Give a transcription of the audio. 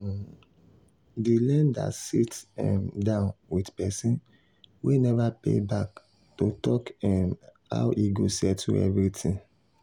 um di lender sit um down with person wey never pay back to talk um how e go settle everything.